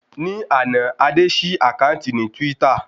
Ní àná, Adé ṣí àkáǹtì ní twítà